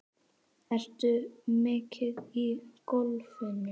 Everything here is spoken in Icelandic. Ertu mikið í golfinu?